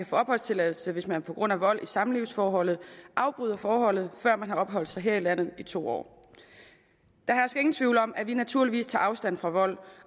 få opholdstilladelse hvis man på grund af vold i samlivsforholdet afbryder forholdet før man har opholdt sig her i landet i to år der hersker ingen tvivl om at vi naturligvis tager afstand fra vold